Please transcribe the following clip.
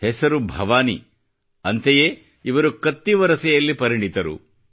ಹೆಸರು ಭವಾನಿ ಅಂತೆಯೇ ಇವರು ಕತ್ತಿವರಸೆಯಲ್ಲಿ ಪರಿಣಿತರು